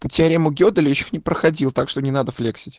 ты теорему геделя ещё не проходил так что не надо флексить